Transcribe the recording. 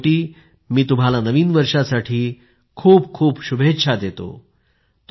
शेवटी मी तुम्हाला नवीन वर्षासाठी खूपखूप शुभेच्छा देतो